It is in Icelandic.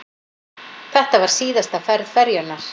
Þetta var síðasta ferð ferjunnar